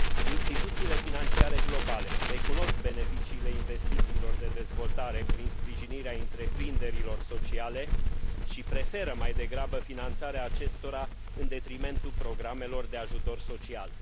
Instituțiile financiare globale recunosc beneficiile investițiilor de dezvoltare, prin sprijinirea întreprinderilor sociale și preferă, mai degrabă, finanțarea acestora, în detrimentul programelor de ajutor social.